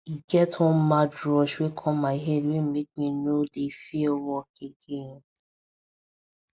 e get one mad rush wey come my head wey make me no dey fear work again